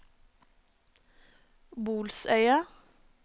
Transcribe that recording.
Bolsøya